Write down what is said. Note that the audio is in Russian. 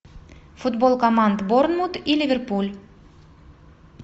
футбол команд борнмут и ливерпуль